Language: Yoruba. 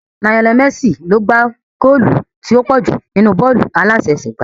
Lionel Messi ni ó gbá góòlù tí ó pọ̀ jù nínú bọ́ọ̀lù aláfẹsẹ̀gbá